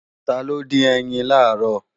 Taló dín ẹyin làárọ̀?